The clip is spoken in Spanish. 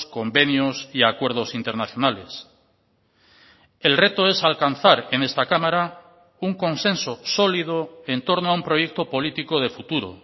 convenios y acuerdos internacionales el reto es alcanzar en esta cámara un consenso sólido en torno a un proyecto político de futuro